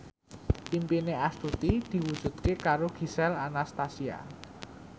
impine Astuti diwujudke karo Gisel Anastasia